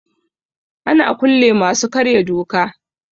Ana kulle masu karya doka.